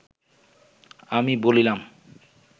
আমি বলিলাম